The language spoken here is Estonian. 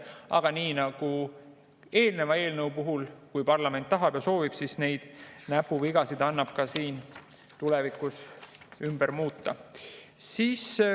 Aga nii nagu eelneva eelnõu puhul, kui parlament tahab ja soovib, siis neid näpuvigasid annab tulevikus muuta.